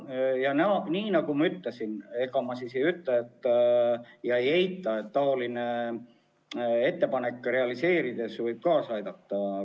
Ma saan sellest aru ja nagu ma ütlesin, ma ei eita, et taolise ettepaneku realiseerimine võib kaasa aidata.